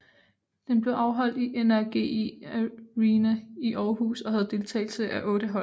Den blev afholdt i NRGi Arena i Århus og havde deltagelse af otte hold